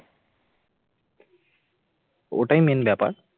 ওটাই main ব্যাপার